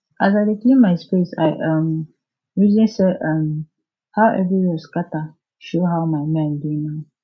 as i dey clean my space i um reason say um how everywhere scatter show how my mind dey now